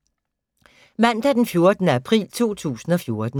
Mandag d. 14. april 2014